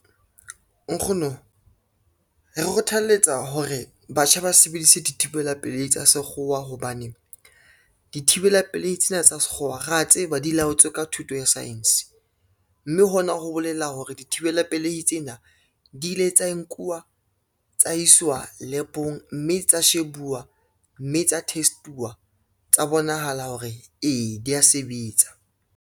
Nkgono, re kgothaletsa hore batjha ba sebedise dithibela pelehi tsa sekgowa hobane, dithibela pelei tsena tsa sekgowa ra tse ba di laotswe ka thuto ya science, mme hona ho bolela hore dithibela pelehi tsena di ile tsa nkuwa tsa iswa lab-ong, mme tsa shebuwa, mme tsa test-uwa tsa bonahala hore, ee dia sebetsa.